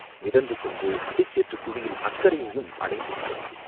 மிதந்து சென்று புதை சேற்றுக் குழியின் அக்கரையையும் அடைந்துவிட்டது.